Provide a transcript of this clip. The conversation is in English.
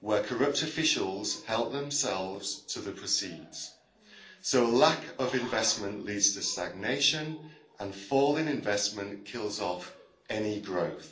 where corrupt officials help themselves to the proceeds, so a lack of investment leads to stagnation, and a fall in investment kills off any growth.